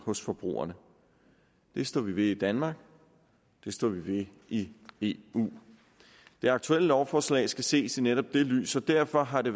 hos forbrugerne det står vi ved i danmark og det står vi ved i i eu det aktuelle lovforslag skal ses i netop det lys og derfor har det